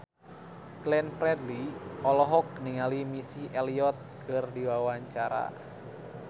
Glenn Fredly olohok ningali Missy Elliott keur diwawancara